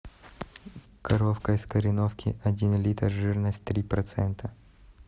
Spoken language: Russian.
коровка из кореновки один литр жирность три процента